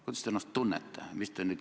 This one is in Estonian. Kuidas te ennast tunnete?